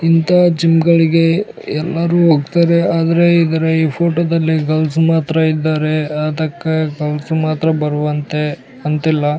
ಇಂತ ಜಿಮ್ಗಳಿಗೆ ಎಲ್ಲರೂ ಹೋಗ್ತಾರೆ ಆದರೆ ಈ ಫೋಟೋದಲ್ಲಿ ಗರ್ಲ್ಸ ಮಾತ್ರ ಇದ್ದಾರೆ ಗರ್ಲ್ಸ ಮಾತ್ರ ಬರುವಂತೆ ಅಂತಿಲ್ಲ .